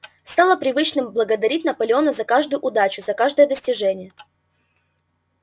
стало привычным благодарить наполеона за каждую удачу за каждое достижение